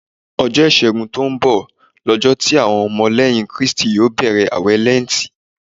Ọjọ́ ìṣẹ́gun tó ń bọ̀ lọjọ́ tí àwọn ọmọ lẹ́yìn Kristi yó bẹ̀rẹ̀ àwẹ̀ Lẹ́ǹtì.